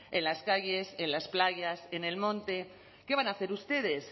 en las calles en las playas en el monte qué van a hacer ustedes